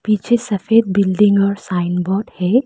पीछे सफेद बिल्डिंग और साइन बोर्ड है।